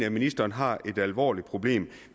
at ministeren har et alvorligt problem